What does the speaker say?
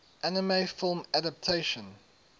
anime film adaptation